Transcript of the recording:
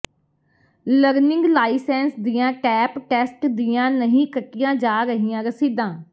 learning licence ਦੀਆਂ ਟੈਪ test ਦੀਆਂ ਨਹੀਂ ਕੱਟੀਆਂ ਜਾ ਰਹੀਆਂ ਰਸੀਦਾਂ